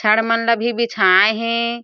छड मन ल भी बिछाए हे।